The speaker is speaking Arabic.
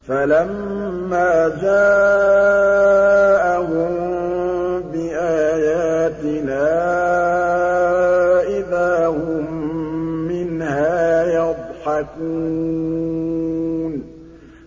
فَلَمَّا جَاءَهُم بِآيَاتِنَا إِذَا هُم مِّنْهَا يَضْحَكُونَ